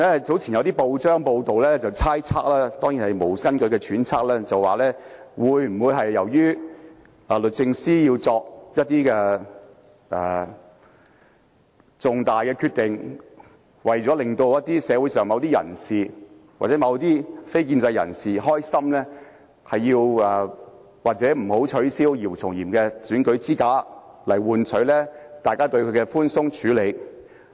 早前有報章報道，內容當然只屬猜測，是無根據的揣測，說是否因為律政司司長為了令社會上某些人士或非建制人士高興，便不取消姚松炎的選舉資格，以換取大家對她的問題寬鬆處理。